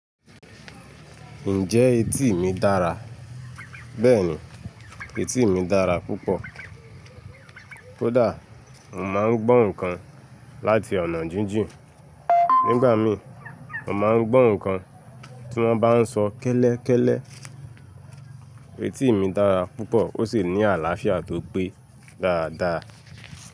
Ǹjẹ́ etí mi dára? Bẹ́ẹ̀ni, etí mi dára púpọ̀. Kódà, mo máa ń gbọ́ nǹkan láti ọ̀nà jíjìn. Nígbà mí, mo máa ń gbọ́ nǹkan tí wọ́n bá sọ kẹ́lẹ́kẹ́lẹ́. Etí mi dára púpọ̀ ó sì ní àlàáfíà tó gbé dáadáa.